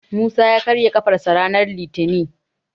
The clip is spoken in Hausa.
Musa ya karya ƙafarsa ranar litinin.